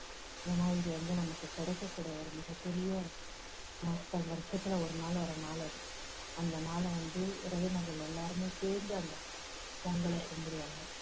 ஏன்னா இது வந்து நமக்கு கிடைக்கக்கூடிய ஒரு மிகப் பெரிய நாட்கள் வருஷத்துல ஒரு நாள் வர்ற நாள் அது அந்த நாளை வந்து உறவினர்கள் எல்லாருமே சேர்ந்து அந்த பொங்கலை கும்பிடுவாங்க